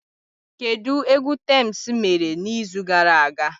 Kedu egwu Tems mere n'izu gara aga?